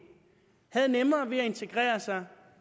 har nemmere ved at integrere sig